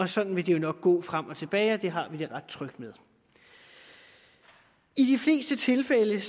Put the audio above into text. sådan vil det nok går frem og tilbage og det har vi det ret trygt med i de fleste tilfælde